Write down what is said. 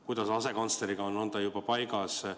Kuidas asekantsleriga on, on ta juba paigas?